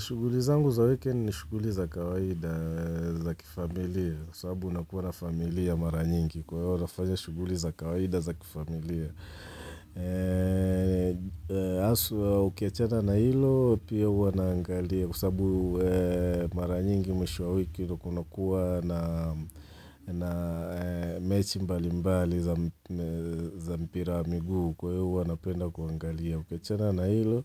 Shuguli zangu za wikendi ni shuguli za kawaida za kifamilia, kwasabu unakuwa na familia mara nyingi, kwa hivyo nafanya shuguli za kawaida za kifamilia. Haswa ukiachana na hilo, pia huwa naangalia, kwasababu mara nyingi mwisho wa wiki, kuna kuwa na mechi mbali mbali za mpira wa miguu, kwa hivyo huwa napenda kuangalia. Ukiachana na hilo,